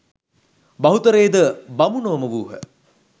බහුතරය ද බමුණෝම වූහ.